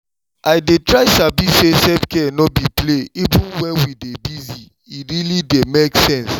i dey try sabi say self-care no be play even when we dey busy—e really dey make sense.